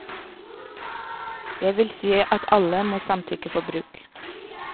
Det vil si at alle må samtykke for bruk.